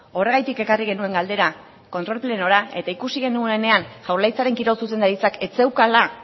horregatik ekarri genuen galdera kontrol plenora eta ikusi genuenean jaurlaritzaren kirol zuzendaritzak ez zeukala